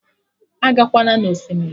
Agakwana na Osimiri!